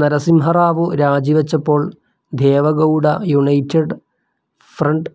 നരസിംഹറാവു രാജിവെച്ചപ്പോൾ Deve Gowda united front